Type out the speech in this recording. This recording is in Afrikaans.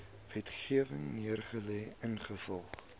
wetgewing neergelê ingevolge